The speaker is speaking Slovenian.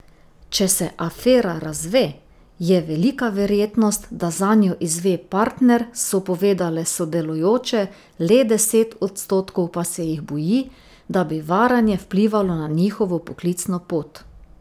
Če se afera razve, je velika verjetnost, da zanjo izve partner, so povedale sodelujoče, le deset odstotkov pa se jih boji, da bi varanje vplivalo na njihovo poklicno pot.